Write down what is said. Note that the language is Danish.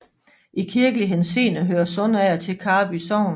I kirkelig henseende hører Sundsager til Karby Sogn